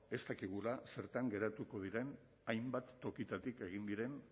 ez dakigula zertan geratuko diren hainbat tokitatik egin diren